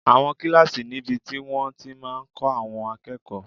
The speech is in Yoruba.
Àwọn kílásì níbi tí wọ́n ti máa n kọ́ àwọn akẹ́kọ̀ọ́